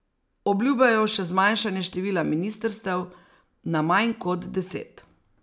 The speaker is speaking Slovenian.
Obljubljajo še zmanjšanje števila ministrstev na manj kot deset.